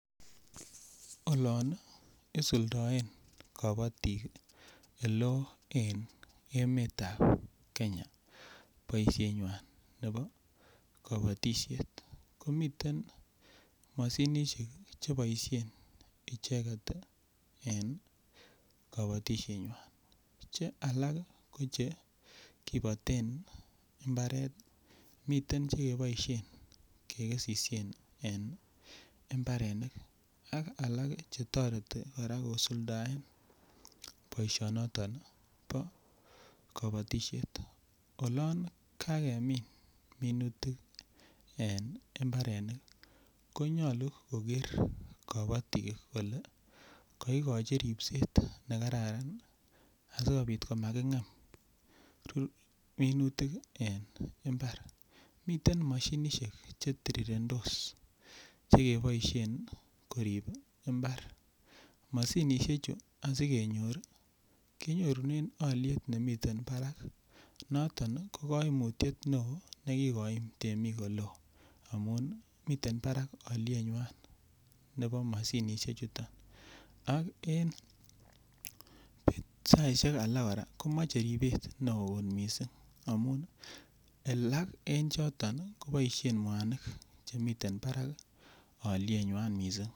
Olon isuldoen kobotik eleo en emetab Kenya boishenywan nebo kobotishet komiten moshinishek cheboishen icheket tii en kobotishenywan Che alak ko chekiboten imbaret miten chekeboishen kekesishen en imbarenik ak alak chetoreti kosuldae boishonoton bo kobotishet olon kakemin minutik en imbarenik konyolu koker kobotik kole koigichi ripset nekararan asikopit komakingem rur minutik en imbar miten moshinishek chetirirendos chekeboishen korip imbar, moshinishek chuu sikenyor kenyorunen moshinishek chemii barak noton ko koimutyet neo nekikoik temik oleo amun miten barak olieywan neo moshinishek chuton ak en saishek alak Koraa komoche ripet neo kot missing amun alak en choto koboishen muanik chemiten barak olieywan missing.